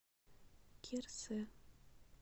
кирсе